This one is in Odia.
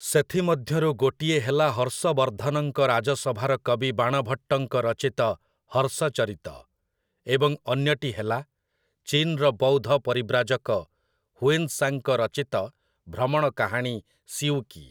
ସେଥିମଧ୍ୟରୁ ଗୋଟିଏ ହେଲା ହର୍ଷବର୍ଦ୍ଧନଙ୍କ ରାଜସଭାର କବି ବାଣଭଟ୍ଟଙ୍କ ରଚିତ ହର୍ଷଚରିତ, ଏବଂ ଅନ୍ୟଟି ହେଲା ଚୀନ୍‌ର ବୌଦ୍ଧ ପରିବ୍ରାଜକ ହୁଏନ୍ ସାଂଙ୍କ ରଚିତ ଭ୍ରମଣ କାହାଣୀ ସି ୟୁ କି ।